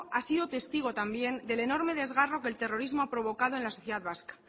ha sido testigo también del enorme desgarro que el terrorismo ha provocado en la sociedad vasca